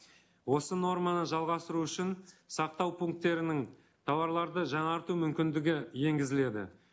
осы норманы жалғастыру үшін сақтау пункттерінің тауарларды жаңарту мүмкіндігі енгізіледі